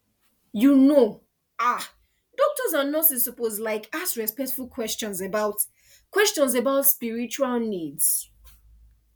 you know ah doctors and nurses suppose like ask respectful questions about questions about spiritual needs